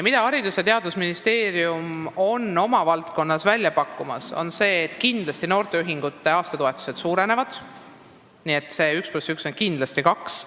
Haridus- ja Teadusministeerium on oma valdkonnas välja pakkunud noorteühingute aastatoetuste suurendamise, nii et 1 + 1 on kindlasti 2.